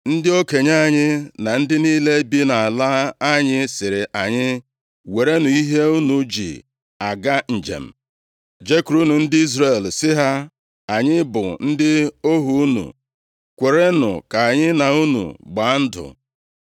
Ndị okenye anyị na ndị niile bi nʼala anyị sịrị anyị, ‘Werenụ ihe unu ji aga njem, jekwurunụ ndị Izrel sị ha, “Anyị bụ ndị ohu unu, kwerenụ ka anyị na unu gbaa ndụ.” ’